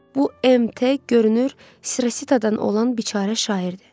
Bu MT görünür Sirasitadan olan biçara şairdir.